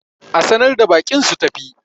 a sanar da baƙin su tafi!